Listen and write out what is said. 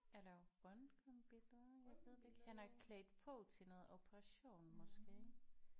Eller røntgenbilleder jeg ved det ikke han er klædt på til noget operation måske